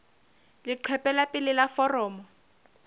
leqephe la pele la foromo